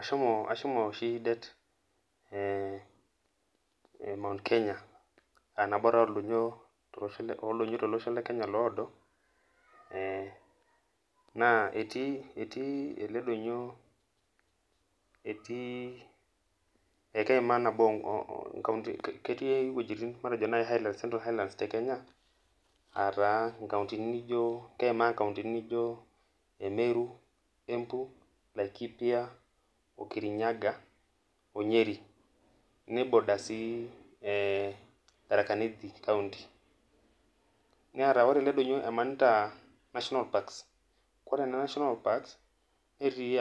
Ashomo oshi det ee Mount Kenya aa nabo taa oo ldonyio tolosho Kenya oodo naa etii ele donyio etii ekeimaa iwuejitin nijo Highlands te Kenya ncountiny naaijo meru, embu, laikipia, okirinyaga o nyeri neiboda sii thataka nithi nemanita sii atua national park naji